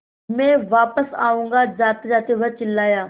मैं वापस आऊँगा जातेजाते वह चिल्लाया